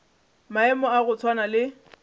maemo a go swana le